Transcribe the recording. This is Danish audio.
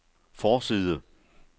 forside